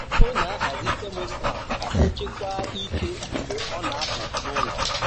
O na-ahazi thermostat ka o chekwaa ike mgbe ọ na-apụ n'ụlọ.